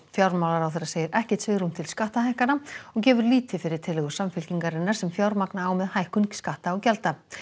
fjármálaráðherra segir ekkert svigrúm til skattahækkana og gefur lítið fyrir tillögur Samfylkingarinnar sem fjármagna á með hækkun skatta og gjalda